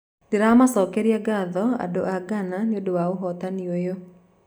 Nĩndĩramacokeria gatho, andũ a Ghana nĩundũ wa ũhotani ũyũ